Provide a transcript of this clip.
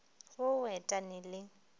wo o et ane le